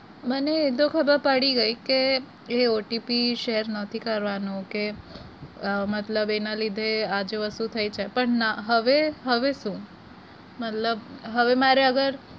મને એતો ખબર પડી ગઈ કે એ OTPshare નથી કરવાનો કે મતલબ કે એના લીધે આજે વસ્તુ થઇ છે પણ ના હવે હવે શુ મતલબ હવે મારે અગર